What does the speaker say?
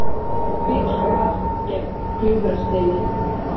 Bíll valt gegnt Gljúfrasteini